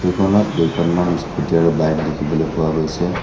খনত কেইখনমান স্কুটী আৰু বাইক দেখিবলৈ পোৱা গৈছে।